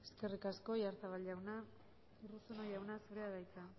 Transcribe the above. sea nada más y muchas gracias eskerrik asko oyarzabal jauna urruzuno jauna zurea da hitza